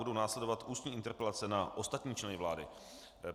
Budou následovat ústní interpelace na ostatní členy vlády.